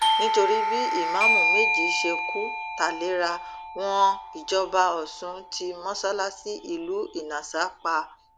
nítorí bí ìmáàmù méjì ṣe kù tálera wọn ìjọba ọsùn ti mọsálásì ìlú ìnasà pa